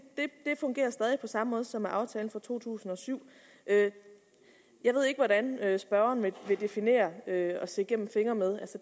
fungerer stadig på samme måde som med aftalen fra to tusind og syv jeg ved ikke hvordan spørgeren vil definere at se igennem fingre med